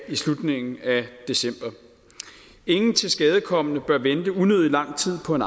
i slutningen af december ingen tilskadekomne bør vente unødig lang tid på en